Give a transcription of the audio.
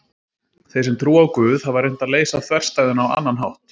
Þeir sem trúa á Guð hafa reynt að leysa þverstæðuna á annan hátt.